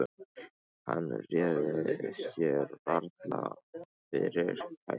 Hann réði sér varla fyrir kæti.